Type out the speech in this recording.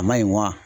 A ma ɲi wa